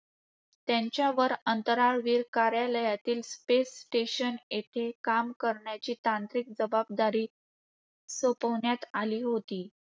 यांच्यावर अंतराळवीर कार्यालयातील ‘ space station ’ येथे काम करण्याची तांत्रिक जबाबदारी सोपविण्यात आली होती.